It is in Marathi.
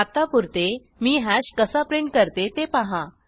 आत्तापुरते मी हॅश कसा प्रिंट करते ते पहा